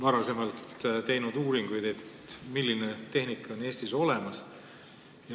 Oleme teinud uuringuid selle kohta, milline tehnika on Eestis olemas.